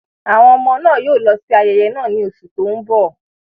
Àwọn ọmọ náà yóò lọ sí ayẹyẹ náà ní oṣù tó ń bọ̀.